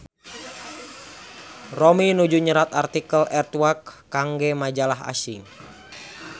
Romi nuju nyerat artikel Earthquake kangge majalah asing